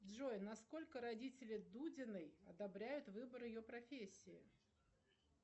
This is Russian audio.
джой насколько родители дудиной одобряют выбор ее профессии